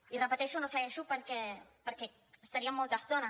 i ho repeteixo no segueixo perquè hi estaríem molta estona